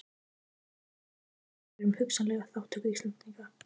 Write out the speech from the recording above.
Erindi þeirra var að spyrjast fyrir um hugsanlega þátttöku Íslendinga.